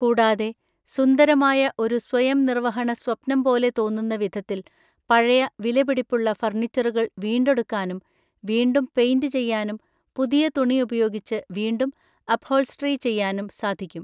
കൂടാതെ, സുന്ദരമായ ഒരു സ്വയംനിര്‍വഹണ സ്വപ്നം പോലെ തോന്നുന്ന വിധത്തില്‍ പഴയ വിലപിടിപ്പുള്ള ഫര്‍ണിച്ചറുകള്‍ വീണ്ടെടുക്കാനും വീണ്ടും പെയിൻ്റ് ചെയ്യാനും പുതിയ തുണി ഉപയോഗിച്ച് വീണ്ടും അപ്ഹോള്‍സ്റ്ററി ചെയ്യാനും സാധിക്കും.